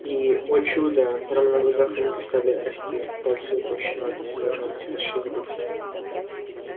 и о чудо прямо на глазах руки стали расти пальцы утолщаться ногти расширились